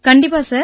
கண்டிப்பா சார்